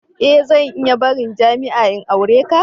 E! Zan iya barin jami'a in aure ka.